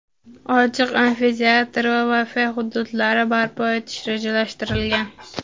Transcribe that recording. ochiq amfiteatr va "Wi-Fi" xududlari barpo etish rejalashtirilgan.